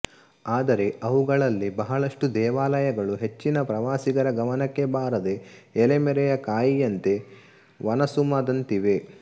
ಆದರೆ ಅವುಗಳಲ್ಲಿ ಬಹಳಷ್ಟು ದೇವಾಲಯಗಳು ಹೆಚ್ಚಿನ ಪ್ರವಾಸಿಗರ ಗಮನಕ್ಕೆ ಬಾರದೆ ಎಲೆಮರೆಯ ಕಾಯಿಯಂತೆ ವನಸುಮದಂತಿವೆ